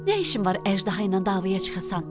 Nə işin var əjdaha ilə davaya çıxasan?